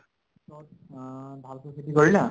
পিছত অহ ভালকৈ খেতি কৰিলা,